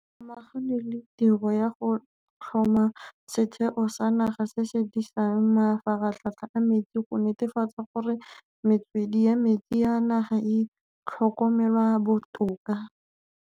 Go samaganwe le tiro ya go tlhoma Setheo sa Naga se se Disang Mafaratlhatlha a Metsi go netefatsa gore metswedi ya metsi ya naga e tlhokomelwa botoka.